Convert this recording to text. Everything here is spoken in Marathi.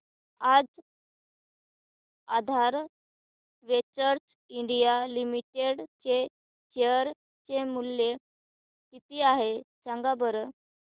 आज आधार वेंचर्स इंडिया लिमिटेड चे शेअर चे मूल्य किती आहे सांगा बरं